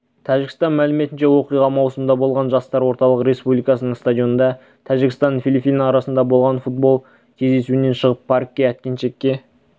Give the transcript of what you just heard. тәжікстан мәліметінше оқиға маусымда болған жастар орталық республикалық стадионында тәжікстан-филиппин арасындағы футбол кездесуінен шығып паркке әткеншекке